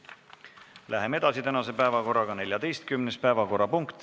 Läheme edasi.